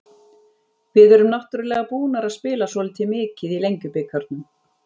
Við erum náttúrulega búnar að spila svolítið mikið í Lengjubikarnum.